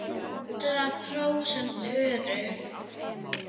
Hundrað prósent örugg!